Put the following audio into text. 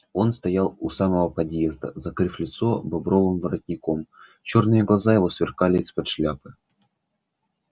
он стоял у самого подъезда закрыв лицо бобровым воротником чёрные глаза его сверкали из под шляпы